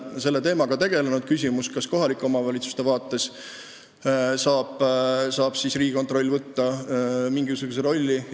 Kas Riigikontroll saab kohalike omavalitsuste vaates võtta mingisuguse rolli?